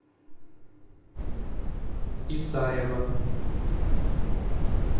исаева